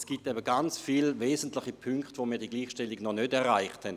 Es gibt ganz viele wesentliche Punkte, wo wir die Gleichstellung noch nicht erreicht haben.